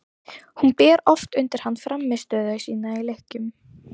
Hún ber oft undir hann frammistöðu sína í leikjum.